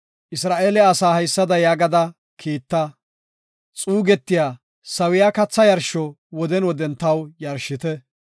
“Isra7eele asaa haysada yaagada kiitta; xuugetiya sawiya katha yarsho woden woden taw yarshite.